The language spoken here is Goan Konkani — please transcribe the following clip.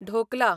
ढोकला